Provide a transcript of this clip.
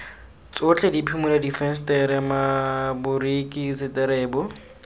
tsotlhe diphimola difensetere maboriki seterebo